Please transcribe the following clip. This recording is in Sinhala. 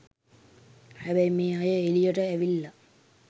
හැබැයි මේ අය එලියට ඇවිල්ල